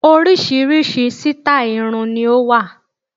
Oríṣiríṣi sítáì irun ni ó wà